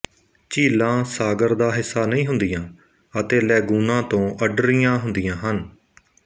ਝੀਲਾਂ ਸਾਗਰ ਦਾ ਹਿੱਸਾ ਨਹੀਂ ਹੁੰਦੀਆਂ ਅਤੇ ਲੈਗੂਨਾਂ ਤੋਂ ਅੱਡਰੀਆਂ ਹੁੰਦੀਆਂ ਹਨ